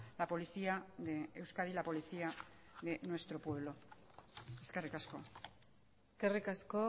la policía de euskadi la policía de nuestro pueblo eskerrik asko eskerrik asko